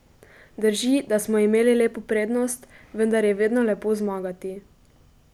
Drži, da smo imeli lepo prednost, vendar je vedno lepo zmagati.